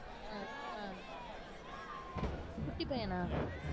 உம் அஹ் குட்டிப் பையனா